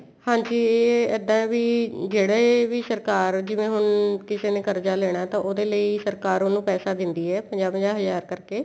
ਹਾਂਜੀ ਇੱਦਾਂ ਵੀ ਜਿਹੜੇ ਵੀ ਸਰਕਾਰ ਜਿਵੇਂ ਹੁਣ ਕਿਸੇ ਨੇ ਕਰਜ਼ਾ ਲੈਣਾ ਤਾਂ ਉਹਦੇ ਲਈ ਸਰਕਾਰ ਵਲੋ ਪੈਸਾ ਦੈਂਦੀ ਏ ਪੰਜਾਹ ਪੰਜਾਹ ਹਜਾਰ ਕਰਕੇ